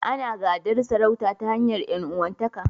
Ana gadan sarauta ta hanyar ƴan'uwanta ka.